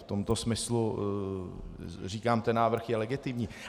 V tomto smyslu říkám, ten návrh je legitimní.